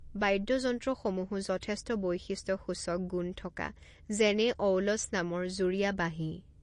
বাদ্যযন্ত্ৰসমূহো যথেষ্ট বৈশিষ্ট্যসূচক গুণ থকা, যেনে অউল'ছ নামৰ যুৰীয়া বাঁহী।